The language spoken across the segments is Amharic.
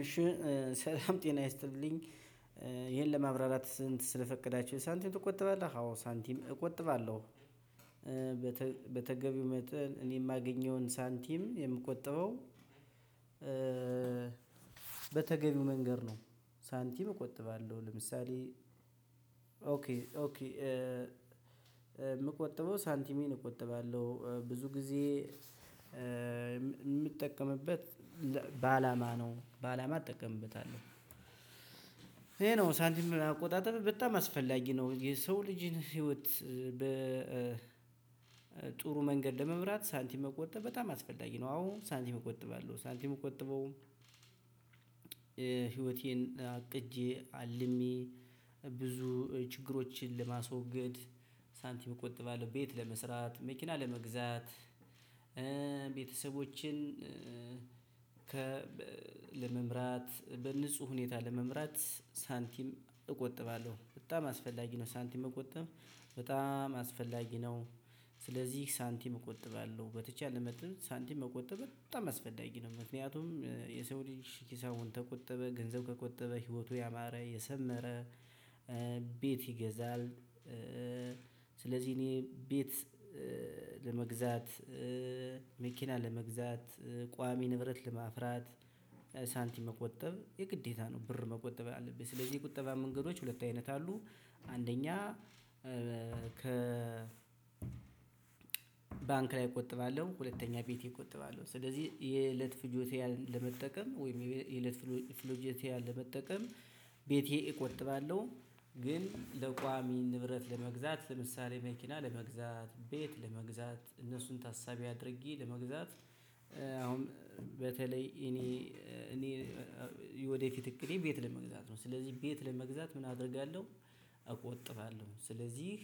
እሺ እ ሰላም ጤና ይስጥልኝ እ ይሄን ለማብራራት ስንት ስለፈቀዳችሁ ሳንቲም ትቆጥባለህ አዎ ሳንቲም እቆጥባለሁ። በተገቢው መጠን እኔ የማገኘውን ሳንቲም የምቆጥበው እ በተገቢው መንገድ ነው። ሳንቲም እቆጥባለሁ። ለምሳሌ ኦኬ ኦኬ እ የምቆጥበው ሳንቲሜን እቆጥባለሁ እ ብዙ ጊዜ እ የምጠቀምበት በአላማ ነው በአላማ እጠቀምበታለሁ። ይሄ ነው ሳንቲም አቆጣጠብ በጣም አስፈላጊ ነው። የሰው ልጅን ህይወት በ ጥሩ መንገድ ለመምራት ሳንቲም መቆጠብ በጣም አስፈላጊ ነው። አዎ ሳንቲም መቆጠብ አለው ሳንቲም እምቆጠበው ህይወቴን አቅጄ አልሜ ብዙ ችግሮችን ለማስወገድ ሳንቲም እቆጥባለሁ። ቤት ለመስራት መኪና ለመግዛት እ ቤተሰቦችን ከ ለመምራት በንጹህ ሁኔታ ለመምራት ሳንቲም እቆጥባለሁ በጣም አስፈላጊ ነው። ሳንቲም መቆጠብ በጣም አስፈላጊ ነው። ስለዚህ ሳንቲም እቆጥባለሁ በተቻለ መጥተው ሳንቲም መቆጠብ በጣም አስፈላጊ ነው። ምክንያቱም የሰው ልጅ ሂሳቡን ተቆጠበ ገንዘብ ከቆጠበ ህይወቱ ያማረ የሰመረ እ ቤት ይገዛል። እ ስለዚህ እኔ ቤት እ ለመግዛት እ መኪና ለመግዛት ቋሚ ንብረት ልማፍራት እ ሳንቲም መቆጠብ የግዴታ ነው። ብር መቆጠብ አለብኝ ስለዚህ የቁጠባ መንገዶች ሁለት አይነት አሉ። አንደኛ እ ከ ባንክ ላይ እቆጥባለሁ። ሁለተኛ ቤቴ እቆጥባለሁ ስለዚህ የለት ፍጆታዬን ለመጠቀም ወይም የለት ፍጆታዬን መጠቀም ቤቴ እቆጥባለሁ። ግን ለቋሚ ንብረት ለመግዛት ለምሳሌ መኪና ለመግዛት ቤት ለመግዛት እነሱን ታሳቢ አድርጌ ለመግዛት። አሁን በተለይ እኔ እ እኔ እ የወደፊት እቅዴ ቤት ለመግዛት ነው። ስለዚህ ቤት ለመግዛት ምን አደርጋለሁ? እቆጥባለሁ ስለዚህ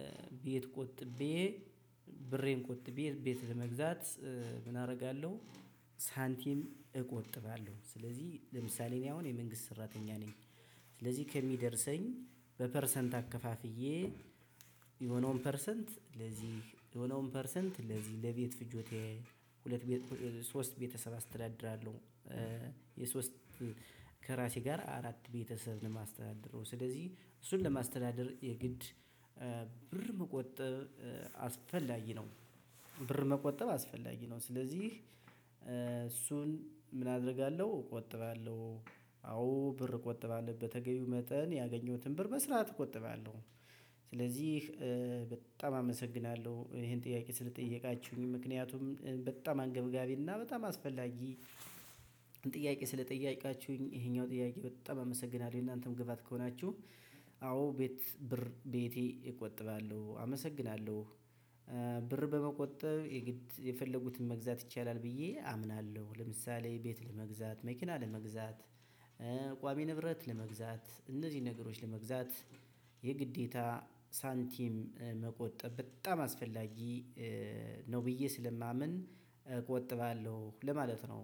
እ ቤት ቆጥቤ ብሬን ቆጥቤ ቤት ለመግዛት እ ምን አደርጋለሁ ሳንቲም እቆጥባለሁ። ስለዚህ ለምሳሌ እኔ አሁን የመንግስት ሰራተኛ ነኝ። ስለዚህ ከሚደርሰኝ በፐርሰንት አከፋፍዬ የሆነውን ፐርሰንት ለዚህ የሆነውን ፐርሰንት ለዚህ ለቤት ፍጆታዬ ሁለት ሶስት ቤተሰብ አስተዳድራለሁ። የሶስት ከራሴ ጋር አራት ቤተሰብ ነው ለማስተዳድረው ስለዚህ እሱን ለማስተዳደር የግድ እ ብር መቆጠብ እ አስፈላጊ ነው። ብር መቆጠብ አስፈላጊ ነው። ስለዚህ እ እሱን ምን አደርጋለሁ እቆጥባለሁ? አዎ ብር እቆጥባለሁ በተገቢው መጠን ያገኘሁትን ብር በስርዓት እቆጥባለሁ። ስለዚህ እ በጣም አመሰግናለሁ ይሄን ጥያቄ ስለጠየቃችሁኝ ምክንያቱም በጣም አንገብጋቢ እና በጣም አስፈላጊ ጥያቄ ስለጠየቃችሁኝ ይሄኛው ጥያቄ በጣም አመሰግናለሁኝ እናንተም ግባት ከሆናችሁ አዎ ቤት ብር ቤቴ እቆጥባለሁ አመሰግናለሁ። እ ብር በመቆጠብ የፈለጉትን መግዛት ይቻላል። ብዬ አምናለሁ ለምሳሌ ቤት ለመግዛት መኪና ለመግዛት እ ቋሚ ንብረት ለመግዛት እነዚህን ነገሮች ለመግዛት የግዴታ ሳንቲም እ መቆጠብ በጣም አስፈላጊ እ ነው። ብዬ ስለማምን እቆጥባለሁ ለማለት ነው።